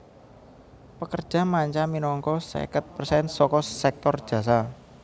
Pekerja manca minangka seket persen saka sèktor jasa